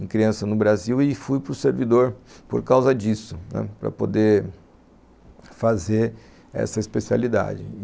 em criança no Brasil e fui para o servidor por causa disso, né, para poder fazer essa especialidade.